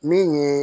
Min ye